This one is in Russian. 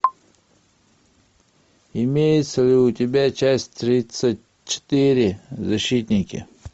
имеется ли у тебя часть тридцать четыре защитники